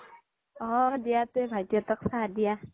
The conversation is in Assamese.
অ দিয়া তে ভাইতি হ্'ত্ক চাহ দিয়া